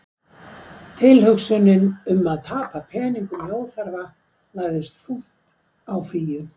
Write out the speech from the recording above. Tilhugsunin um að tapa peningum í óþarfa lagðist þungt á Fíu.